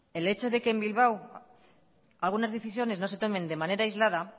el hecho de que en bilbao algunas decisiones no se tomen de manera aislada